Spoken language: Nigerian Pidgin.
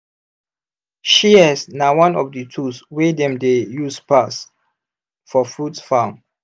shears na one of the tools wey dem dey use pass for fruit farm.